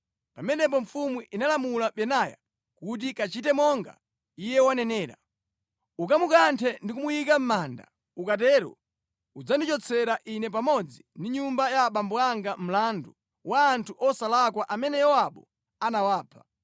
Pamenepo mfumu inalamula Benaya kuti, “Kachite monga iye wanenera. Ukamukanthe ndi kumuyika mʼmanda. Ukatero udzandichotsera ine pamodzi ndi nyumba ya abambo anga mlandu wa anthu osalakwa amene Yowabu anawapha.